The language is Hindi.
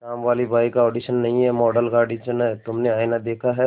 कामवाली बाई का ऑडिशन नहीं है मॉडल का ऑडिशन है तुमने आईना देखा है